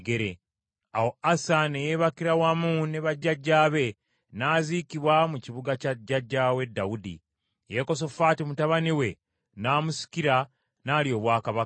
Awo Asa ne yeebakira wamu ne bajjajjaabe n’aziikibwa mu kibuga kya jjajjaawe Dawudi. Yekosafaati, mutabani we n’amusikira, n’alya obwakabaka.